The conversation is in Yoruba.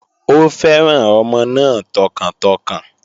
Ó fẹ́ràn ọmọ náà tọkàntọkàn